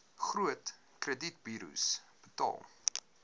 groot kredietburos betaal